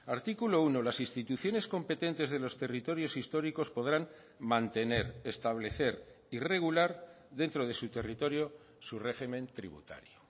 artículo uno las instituciones competentes de los territorios históricos podrán mantener establecer y regular dentro de su territorio su régimen tributario